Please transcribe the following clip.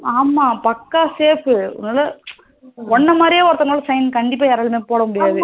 ஆமா பாக்க safe உன்ன மரியே sign கண்டிப்பா யாராலையும் போடா முடியாது